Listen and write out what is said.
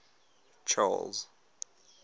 charles